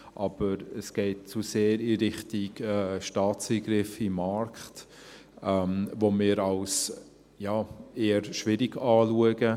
Aber es geht zu sehr in Richtung Staatseingriff in den Markt, den wir als eher schwierig anschauen.